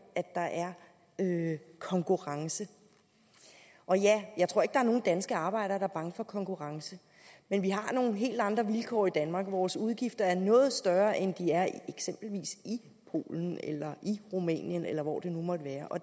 at der er konkurrence jeg tror ikke der er nogen danske arbejdere der er bange for konkurrence men vi har nogle helt andre vilkår i danmark og vores udgifter er noget større end de er i eksempelvis polen eller rumænien eller hvor det nu måtte være